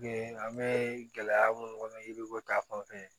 An bɛ gɛlɛya minnu kɔnɔ yiriko ta fan fɛ